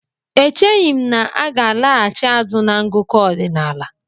Echeghi m na aga alaghachi azụ na ngụkọ ọdinaala.